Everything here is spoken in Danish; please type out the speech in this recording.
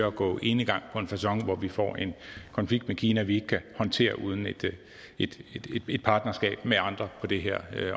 at gå enegang på en facon hvor vi får en konflikt med kina vi ikke kan håndtere uden et et partnerskab med andre på det her